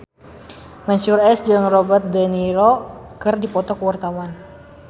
Mansyur S jeung Robert de Niro keur dipoto ku wartawan